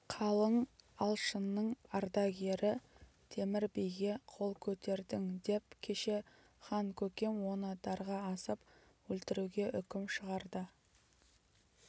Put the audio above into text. қалың алшынның ардагері темір биге қол көтердің деп кеше хан-көкем оны дарға асып өлтіруге үкім шығарды